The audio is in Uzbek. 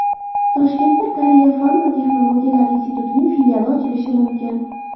Toshkentda Koreya fan va texnologiyalar institutining filiali ochilishi mumkin .